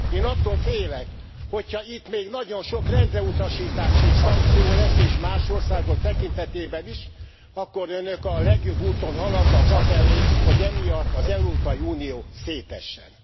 Én attól félek, hogy ha itt még nagyon sok rendreutasítás és szankció lesz és más országok tekintetében is akkor Önök a legjobb úton haladnak afelé, hogy emiatt az Európai Unió szétessen.